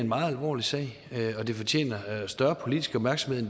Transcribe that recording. en meget alvorlig sag og det fortjener større politisk opmærksomhed